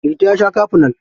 Liti ya sha kafinol.